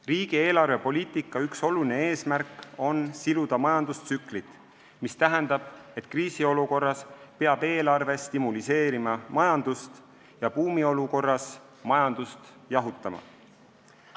Riigi eelarvepoliitika üks oluline eesmärk on siluda majandustsüklit, mis tähendab, et kriisiolukorras peab eelarve majandust stimuleerima ja buumiolukorras majandust jahutama.